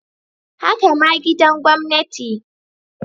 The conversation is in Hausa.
Haka ma gidan gwamnati.